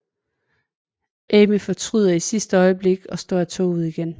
Amy fortryder i sidste øjeblik og står af toget igen